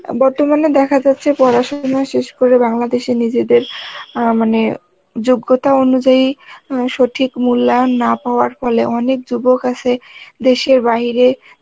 বর্তমানে দেখা যাচ্ছে পড়াশোনা শেষ করে বাংলাদেশে নিজেদের অ্যাঁ মানে যোগ্যতা অনুযায়ী উম সঠিক মূল্যায়ন না পাওয়ার ফলে অনেক যুবক আছে দেশের বাহিরে